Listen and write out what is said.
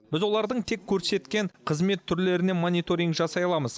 біз олардың тек көрсеткен қызмет түрлеріне мониторинг жасай аламыз